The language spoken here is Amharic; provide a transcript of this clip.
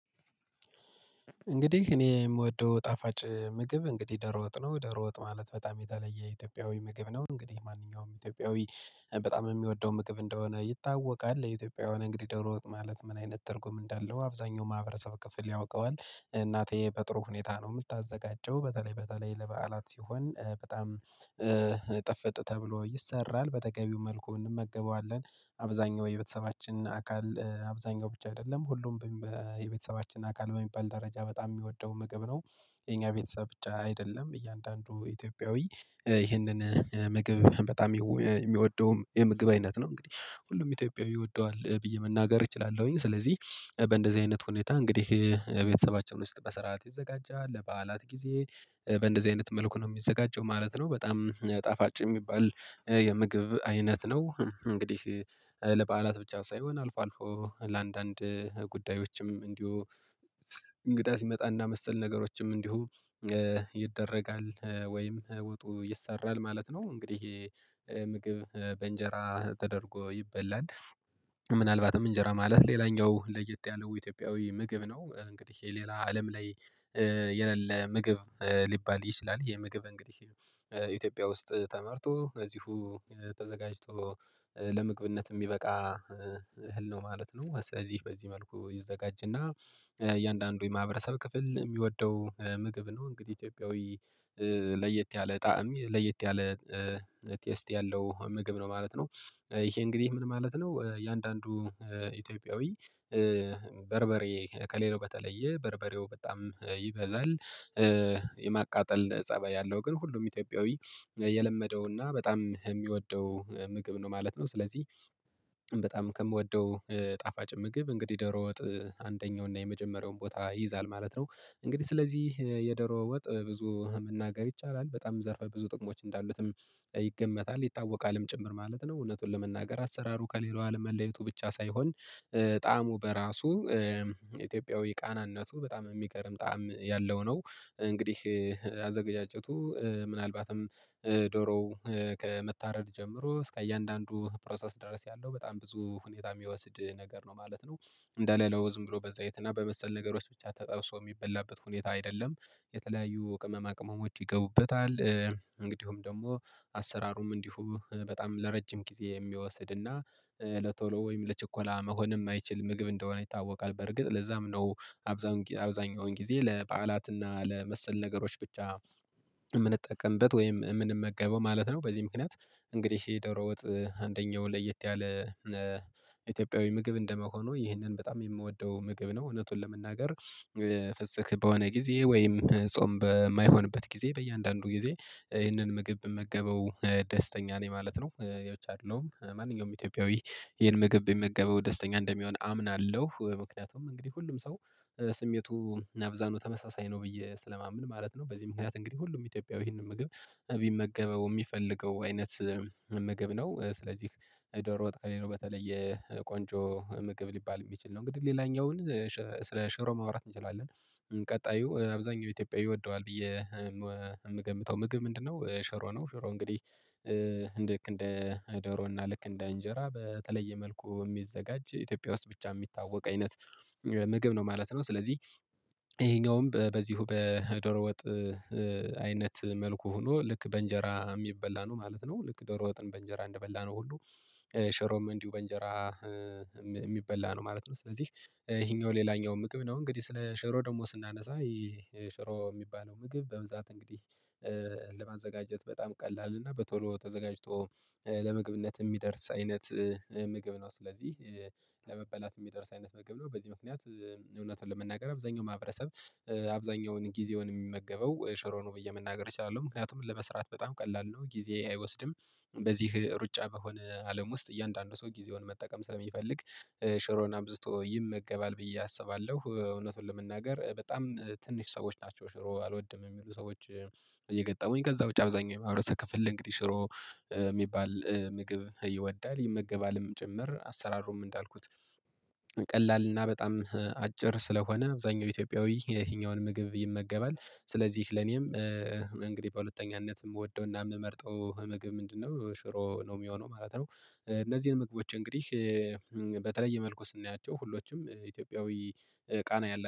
እንግዲህ እኔ የምወደው ጣፋጭ ምግብ እንግዲህ ዶሮጥ ነው ዶሮ ወጥ ማለት በጣም የተለየ የኢትዮጵያዊ ምግብ ነው እንግዲህ ማንኛውም ኢትዮጵያዊ። በጣም የሚወደው ምግብ እንደሆነ ይታወቃል። የኢትዮጵያዊ እንግዲህ ዶሮ ወጥ ማለት ምን አይነት ትርጉም እንዳለው አብዛኛው ማህበረሰብ ክፍል ያውቀዋል። እናቴ በጥሩ ሁኔታ ነው የምታዘጋጀው በተለይ በተለይ ለበዓላት ሲሆን በጣም ጥፍጥ ተብሎ ይሰራል በተገቢው መልኩ እንመገበዋለን። አብዛኛው የቤተሰባችን አካል አብዛኛው ብቻ አይደለም ሁሉም የቤተሰባችን አካል በሚባል ደረጃ በጣም ሚወደው ምግብ ነው። የኛ ቤተሰብ ብቻ አይደለም እያንዳንዱ ኢትዮጵያዊ ይህንን ምግብ በጣም ሚወደውም የምግብ አይነት ነው። እንግዲህ ሁሉም ኢትዮጵያዊ ይወደዋል ብዬ መናገር እችላለሁኝ። ስለዚህ በእንደዚህ አይነት ሁኔታ እንግዲህ ቤተሰባችን ውስጥ በስርዓት ይዘጋጃል። ለበዓላት ጊዜ በእንደዚህ አይነት መልኩ ነው የሚዘጋጀው ማለት ነው። በጣም ጣፋጭ ሚባል የምግብ አይነት ነው። እንግዲህ ለበዓላት ብቻ ሳይሆን አልፎ አልፎ ለአንዳንድ ጉዳዮችም እንዲሁ እንግዳ ሲመጣና መሰል ነገሮችም እንዲሁ ይደረጋል። ወይም ወጡ ይሰራል ማለት ነው። እንግዲህ ምግብ በእንጀራ ተደርጎ ይበላል። ምናልባትም እንጀራ ማለት ሌላኛው ለየት ያለው ኢትዮጵያዊ ምግብ ነው። እንግዲህ የሌላ አለም ላይ የለለ ምግብ ሊባል ይችላል። የምግብ እንግዲህ ኢትዮጵያ ውስጥ ተመርቶ ከዚሁ ተዘጋጅቶ ለመግብነት ሚበቃ እህል ነው ማለት ነው። በዚህ መልኩ ይዘጋጅና እያንዳንዱ የማህበረሰብ ክፍል ሚወደው ምግብ ነው። እንግዲህ ኢትዮጵያዊ ለየት ያለ ጣዕም ለየት ያለ ቴስት ያለው ምግብ ነው ማለት ነው። ይሄ እንግዲህ ምን ማለት ነው? እየአንዳንዱ ኢትዮጵያዊ በርበሬ ከሌላው በተለየ በርበሬው በጣም ይበዛል። የማቃጠል ፀባይ ያለው ግን ሁሉም ኢትዮጵያዊ የለመደውና በጣም ሚወደው ምግብ ነው ማለት ነው። ስለዚህ በጣም ከምወደው ጣፋጭ ምግብ እንግዲህ ዶሮ ወጥ አንደኛው እና የመጀመሪያውን ቦታ ይይዛል ማለት ነው። እንግዲህ ስለዚህ የዶሮ ወጥ ብዙ መናገር ይቻላል በጣም ዘርፋ ብዙ ጥቅሞች እንዳሉትም ይገመታል ይታወቃልም ጭምር ማለት ነው። እውነቱን ለመናገር አሰራሩ ከሌላው አለም መለየቱ ብቻ ሳይሆን ጣዕሙ በራሱ ኢትዮጵያዊ ቃናነቱ በጣም ሚገርም ጣዕም ያለው ነው። እንግዲህ አዘገጃጀቱ ምናልባትም ዶሮው ከመታረድ ጀምሮ እስከ እያንዳንዱ ፕሮሰስ ድረስ ያለው በጣም ብዙ ሁኔታ ሚወስድ ነገር ነው ማለት ነው። እንደሌላው ዝም ብሎ በዘይትና በመሰል ነገሮች ብቻ ተጠብሶ የሚበላበት ሁኔታ አይደለም። የተለያዩ ቅመማ ቅመሞች ይገቡበታል። እንግዲሁም ደግሞ አሰራሩም እንዲሁም በጣም ለረጅም ጊዜ የሚወስድና ለቶሎ ወይም ለችኮላ መሆን የማይችል ምግብ እንደሆነ ይታወቃል። በርግጥ ለዛም ነው። አብዛኛውን ጊዜ ለበዓላትና ለመሰል ነገሮች ብቻ የምንጠቀምበት ወይም ምንመገበው ማለት ነው። በዚህ ምክንያት እንግዲህ የዶሮ ወጥ አንደኛው ለየት ያለ ኢትዮጵያዊ ምግብ እንደመሆኑ ይህንን በጣም የምወደው ምግብ ነው። እውነቱን ለመናገር ፍስክ በሆነ ጊዜ ወይም ጾም በማይሆንበት ጊዜ በእያንዳንዱ ጊዜ ይህንን ምግብ ብመገበው ደስተኛ ነኝ ማለት ነው። ያው ነጭ አይደለሁም ማንኛውም ኢትዮጵያዊ ይሄን ምግብ በሚመገበው ደስተኛ እንደሚሆን አምናለሁ። ምክንያቱም እንግዲህ ሁሉም ሰው ስሜቱ አብዛኛው ተመሳሳይ ነው ብዬ ስለማመን ማለት ነው። በዚህ ምክንያት እንግዲህ ሁሉም ኢትዮጵያዊ ይህንን ምግብ ቢመገበው የሚፈልገው አይነት መመገብ ነው። ስለዚህ ዶሮ ወጥ ከሌላው በተለየ ቆንጆ ምግብ ሊባል የሚችል ነው። እንግዲህ ሌላኛውን ስለ ሽሮ ማውራት እንችላለን። ቀጣዩ አብዛኛው ኢትዮጵያዊ ይወደዋል ብዬ ምገምተው ምግብ ምንድነው? ሸሮ ነው። ሸሮ እንግዲህ ልክ እንደ ዶሮና ልክ እንደ እንጀራ በተለየ መልኩ ሚዘጋጅ ኢትዮጵያ ውስጥ ብቻ የሚታወቅ አይነት ምግብ ነው ማለት ነው። ስለዚህ ይሄኛውም በዚሁ በዶሮ ወጥ አይነት መልኩ ሆኖ ልክ በእንጀራ የሚበላ ነው ማለት ነው። ልክ ዶሮ ወጥን በእንጀራ እንደበላነው ሁሉ ሸሮም እንዲሁ በእንጀራ ሚበላ ነው ማለት ነው። ስለዚህ ይሄኛው ሌላኛው ምግብ ነው። እንግዲህ ስለ ሸሮ ደግሞ ስናነሳ ይህ ሽሮ የሚባለው ምግብ በብዛት እንግዲህ በጣም ቀላል እና በቶሎ ተዘጋጅቶ ለመግብነት የሚደርስ አይነት ምግብ ነው። ስለዚህ ለመበላት የሚደርስ አይነት ምግብ ነው። በዚህ ምክንያት እውነት ለመናገር አብዛኛው ማህበረሰብ አብዛኛውን ጊዜውን የሚመገበው ሽሮ ነው ብዬ መናገር እችላለሁ። ምክንያቱም ለመስራት በጣም ቀላል ነው ጊዜ አይወስድም። በዚህ ሩጫ በሆነ አለም ውስጥ እያንዳንዱ ሰው ጊዜውን መጠቀም ስለሚፈልግ ሽሮን አብዝቶ ይመገባል ብዬ አስባለሁ። እውነቱን ለመናገር በጣም ትንሽ ሰዎች ናቸው ሽሮ አልወድም የሚሉ ሰዎች። የገጠሙኝ ከዛ ውጪ አብዛኛው የማህረሰብ ክፍል እንግዲህ ሽሮ ሚባል ምግብ ይወዳል ይመገባልም ጭምር። አሰራሩም እንዳልኩት ቀላል እና በጣም አጭር ስለሆነ አብዛኛው ኢትዮጵያዊ የትኛውን ምግብ ይመገባል። ስለዚህ ለኔም እንግዲህ በሁለተኛነት የምወደውና የምመርጠው ምግብ ምንድነው? ሽሮ ነው የሚሆነው ማለት ነው። እነዚህን ምግቦች እንግዲህ በተለየ መልኩ ስናያቸው ሁሎችም ኢትዮጵያዊ ቃና ያላ